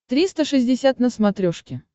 триста шестьдесят на смотрешке